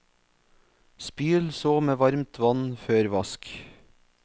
Spyl så med varmt vann før vask.